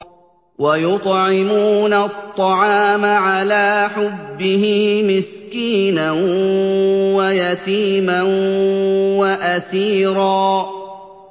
وَيُطْعِمُونَ الطَّعَامَ عَلَىٰ حُبِّهِ مِسْكِينًا وَيَتِيمًا وَأَسِيرًا